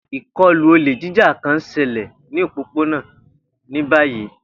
Ikọlu ole jija kan n ṣẹlẹ ni opopona ni bayi.